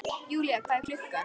Julia, hvað er klukkan?